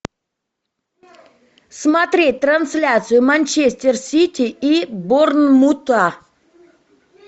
смотреть трансляцию манчестер сити и борнмута